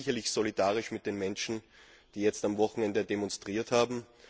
Ich bin sicherlich solidarisch mit den Menschen, die jetzt am Wochenende demonstriert haben.